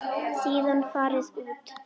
Síðan farið út.